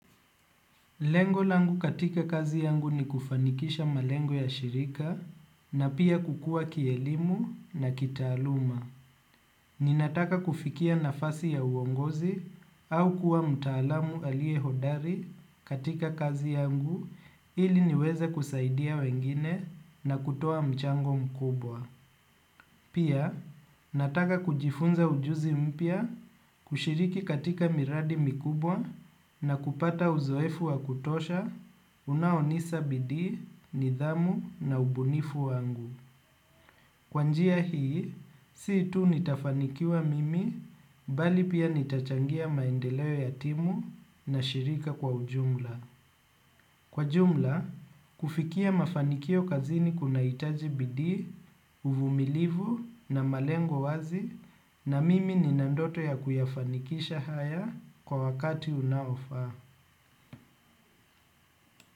Lengo langu katika kazi yangu ni kufanikisha malengo ya shirika na pia kukua kielimu na kitaaluma. Ninataka kufikia nafasi ya uongozi au kuwa mtaalamu aliye hodari katika kazi yangu ili niweze kusaidia wengine na kutoa mchango mkubwa. Pia, nataka kujifunza ujuzi mpya kushiriki katika miradi mikubwa na kupata uzoefu wa kutosha unaonisa bidi, nidhamu na ubunifu wangu. Kwa njia hii, sii tu nitafanikiwa mimi, bali pia nitachangia maendeleo ya timu na shirika kwa ujumla. Kwa jumla, kufikia mafanikio kazini kunahitaji bidii, uvumilivu na malengo wazi na mimi nina ndoto ya kuyafanikisha haya kwa wakati unaofaa.